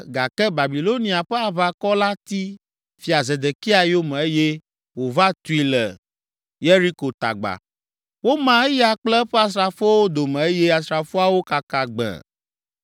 gake Babilonia ƒe aʋakɔ la ti Fia Zedekia yome eye wòva tui le Yeriko tagba. Woma eya kple eƒe asrafowo dome eye asrafoawo kaka gbẽe.